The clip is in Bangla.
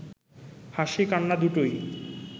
হাসি, কান্না দুটোই